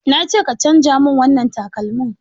Na ce ka canza mun wannan takalmin!